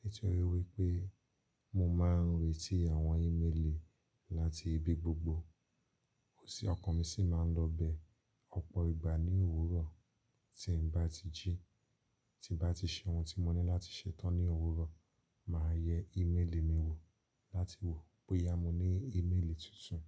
nítorí wípé mo máa ń retí àwọn ímélì láti ibi gbogbo. Ó sì ọkàn mi sì máa ń lọ bẹ́ẹ̀ ọ̀pọ̀ ìgbà ní òwúrọ̀. Tí n bá ti jí, tí n bá ti ṣe ohun tí mo ní láti ṣetán ní òwúrọ̀, màá yẹ ímélì mi wò láti wò bóyá mo ní ímélì tuntun.